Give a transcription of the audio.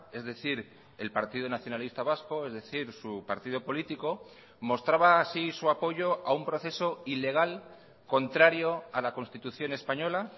es decir el partido nacionalista vasco es decir su partido político mostraba así su apoyo a un proceso ilegal contrario a la constitución española